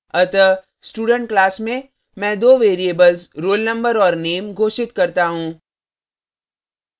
अतः student class में मैं दो variables roll number और name घोषित करता हूँ